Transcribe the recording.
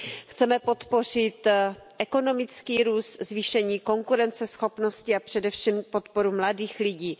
Chceme podpořit ekonomický růst, zvýšení konkurenceschopnosti a především podporu mladých lidí.